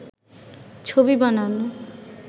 ছবি বানান